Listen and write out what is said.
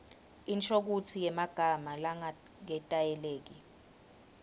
inshokutsi yemagama langaketayeleki